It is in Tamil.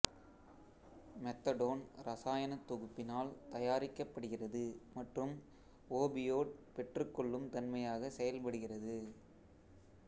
மெத்தடோன் இரசாயனத் தொகுப்பினால் தயாரிக்கப்படுகிறது மற்றும் ஓபியோட் பெற்றுக்கொள்ளும் தன்மையாக செயல்படுகிறது